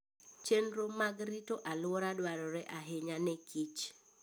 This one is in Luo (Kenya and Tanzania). Chenro mag rito alwora dwarore ahinya ne kich